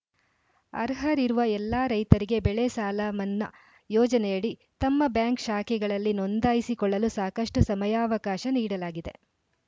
ಅರ್ಹರಿರುವ ಎಲ್ಲಾ ರೈತರಿಗೆ ಬೆಳೆ ಸಾಲ ಮನ್ನಾ ಯೋಜನೆಯಡಿ ತಮ್ಮ ಬ್ಯಾಂಕ್‌ ಶಾಖೆಗಳಲ್ಲಿ ನೋಂದಾಯಿಸಿಕೊಳ್ಳಲು ಸಾಕಷ್ಟುಸಮಯಾವಕಾಶ ನೀಡಲಾಗಿದೆ